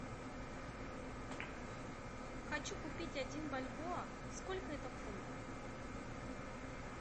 хочу купить один бальбоа сколько это в фунтах